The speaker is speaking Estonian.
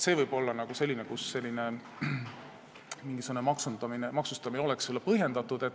Seal võib olla mingisugune maksustamine põhjendatud.